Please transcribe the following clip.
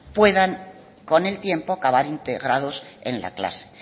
puedan con el tiempo acabar integrados en la clase